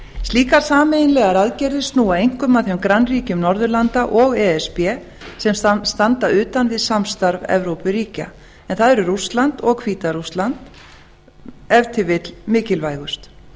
slíkar sameiginlegar aðgerðir snúa einkum að þeim grannríkjum norðurlanda og e s b sem standa utan við samstarf evrópuríkja en þar eru rússland og hvíta rússland ef til vill mikilvægust